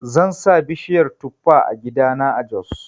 Zan sa bishiyar tufa a gidana a jos.